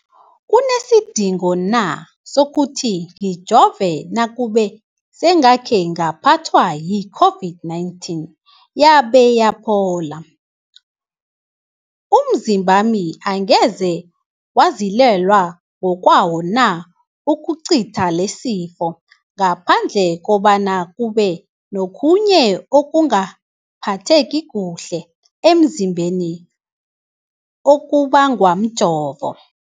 kunesidingo na sokuthi ngijove nakube sengakhe ngaphathwa yi-COVID-19 yabe yaphola? Umzimbami angeze wazilwela ngokwawo na ukucitha lesisifo, ngaphandle kobana kube nokhunye ukungaphatheki kuhle emzimbeni okubangwa mjovo?